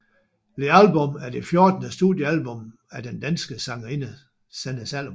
The Album er det fjortende studiealbum af den danske sangerinde Sanne Salomonsen